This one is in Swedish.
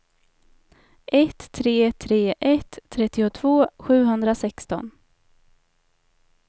ett tre tre ett trettiotvå sjuhundrasexton